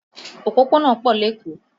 Òpópónà pọ̀ lékòó